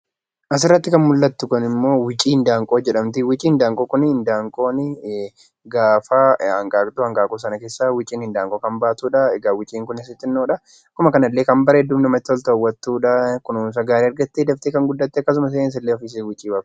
Asirratti kan mul'attu kun immoo wucii handaaqqoo jedhamti. Wuciin handaaqqoo kuni handaaqqooni gaafa hanqaaqtu, hanqaaquu sana keessaa wucii handaaqqoo kan baatudha. Egaa wuciin kunisii xinnoodha. Akkuma kanallee kan bareedduu fi hawwattuudha. Kunuunsa gaarii argattee daftee kan guddatte akkasumas illee rifeensa wucii baastedha.